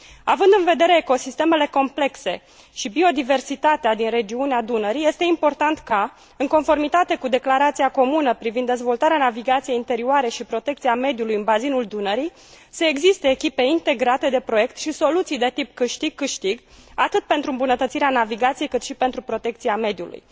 Având în vedere ecosistemele complexe și biodiversitatea din regiunea Dunării este important ca, în conformitate cu declarația comună privind dezvoltarea navigației interioare și protecția mediului în bazinul Dunării, să existe echipe integrate de proiect și soluții de tip câștig câștig atât pentru îmbunătățirea navigației, cât și pentru protecția mediului.